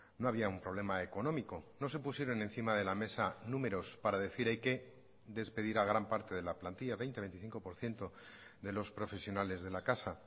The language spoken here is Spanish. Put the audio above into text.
no había un problema económico no se pusieron encima de la mesa números para decir hay que despedir a gran parte de la plantilla veinte veinticinco por ciento de los profesionales de la casa